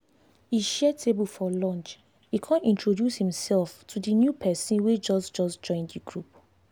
e share table for lunch e con introduce himself to the new person wey just just join the team.